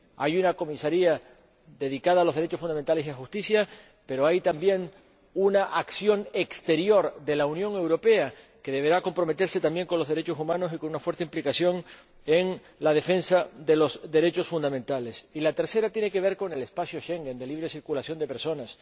Hay una comisaría dedicada a los derechos fundamentales y justicia, pero hay también una acción exterior de la Unión Europea que deberá comprometerse también con los derechos humanos y con una fuerte implicación en la defensa de los derechos fundamentales. Y el tercero tiene que ver con el espacio Schengen de libre circulación de personas